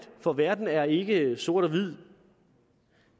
for verden er ikke sort hvid